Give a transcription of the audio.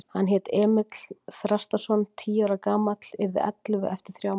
Hann hét Emil Þrastarson, tíu ára gamall, yrði ellefu eftir þrjá mánuði.